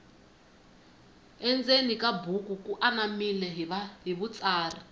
endzeni ka buku ku anamile hi vutsari